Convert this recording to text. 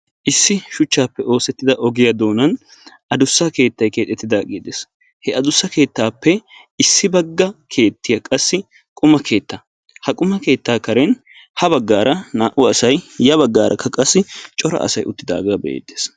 Issi shuchchaappe oosettida ogiyaa doonan adussa keettay keexxetidaage dees. he adussa keettaappe issi bagga keettiya qassi qumma keetta. ha quma keettaa karen ha bagaara naa'u asay ya baggaarakka qassi cora asay uttidaagaabe'eettees.